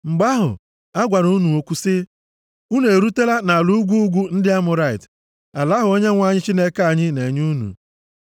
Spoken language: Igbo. Mgbe ahụ agwara m unu okwu sị, “Unu erutela nʼala ugwu ugwu ndị Amọrait, ala ahụ Onyenwe anyị Chineke anyị na-enye anyị.